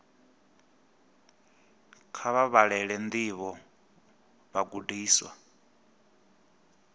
kha vha vhalele ndivho vhagudiswa